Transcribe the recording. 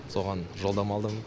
соған жолдама алдым